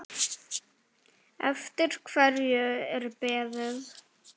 Eftir hverju er beðið?